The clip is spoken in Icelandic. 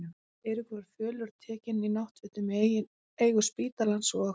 Eiríkur var fölur og tekinn, í náttfötum í eigu spítalans, og